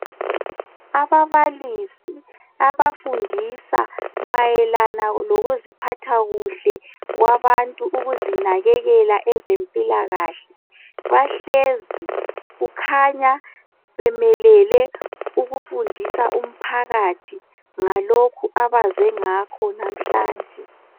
Ababalisi abafundisa mayelana ngokuziphatha kuhle kwabantu ukuzinakekela kwezempilakahle bahlezi kukhanya bemelele ukufundisa umphakathi ngalokhu abaze ngakho namhlanje.